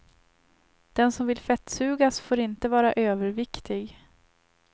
Den som vill fettsugas får inte vara överviktig.